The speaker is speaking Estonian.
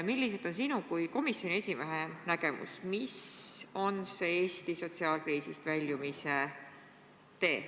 Milline on sinu kui komisjoni esimehe nägemus, milline on see Eesti sotsiaalkriisist väljumise tee?